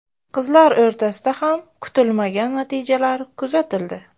Qizlar o‘rtasida ham kutilmagan natijalar kuzatildi.